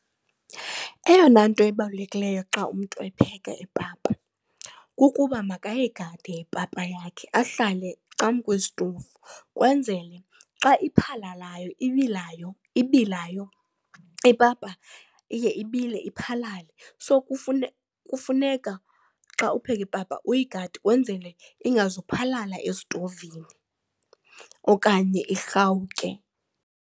Eyona nto ibalulekileyo xa umntu epheka ipapa kukuba makayigade ipapa yakhe ahlale cangwesitovu kwenzele xa iphalalayo ibilayo, ipapa iye ibile, iphalale. So, kufuneka xa upheka ipapa uyigade wenzele ingazophalala estovini okanye irhawuke.